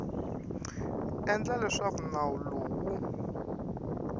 endla leswaku nawu lowu wu